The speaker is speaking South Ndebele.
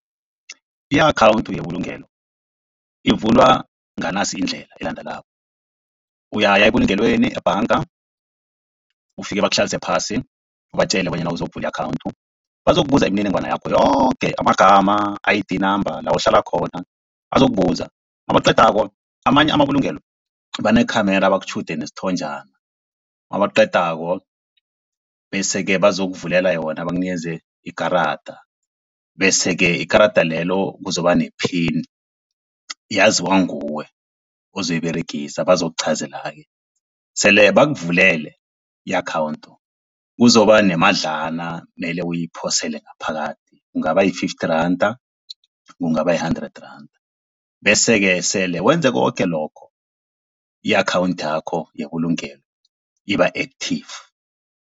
I-akhawunthu yebulungelo ivulwa nganasi indlela elandelako. Uyaya ebulungelweni ebhanga, ufike bakuhlalise phasi, ubatjele bonyana uzokuvula i-akhawunthu, bazokubuza imininingwana yakho yoke amagama, I_D number, la uhlala khona, bazokubuza nabaqedako amanye amabulungelo banekhamera bakutjhude nesithonjana, nabaqedako bese-ke bazokuvulela yona bakunikeze ikarada, bese-ke ikarada lelo kuzoba ne-pin yaziwa nguwe ozoyiberegisa bazokuchazela-ke. Sele bakuvulele i-akhawunthu kuzokuba nemadlana mele uyiphosele ngaphakathi, kungaba yi-fifty randa, kungaba yi-hundred rand. Bese-ke sele wenze koke lokho i-akhawunthi yakho yebulungelo iba-active.